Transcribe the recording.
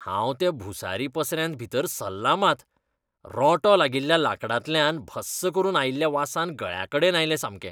हांव त्या भुसारी पसऱ्यार भितर सरलां मात, रोंटो लागिल्ल्या लांकडांतल्यान भस्स करून आयिल्ल्या वासान गळ्याकडेन आयलें सामकें.